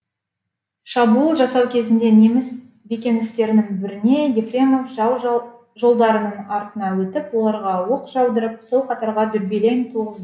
шабуыл жасау кезінде неміс бекіністерінің біріне ефремов жау жолдарының артына өтіп оларға оқ жаудырып сол қатарға дүрбелең туғызды